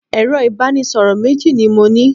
Ẹ̀rọ ìbánisọ̀rọ̀ méjì ni mo ní.